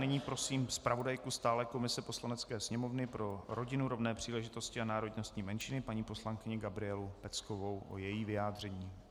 Nyní prosím zpravodajku stálé komise Poslanecké sněmovny pro rodinu, rovné příležitosti a národnostní menšiny paní poslankyni Gabrielu Peckovou o její vyjádření.